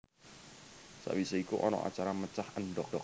Sawise iku ana acara mecah endhok